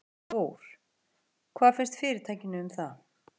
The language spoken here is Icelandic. Þór: Hvað finnst fyrirtækinu um það?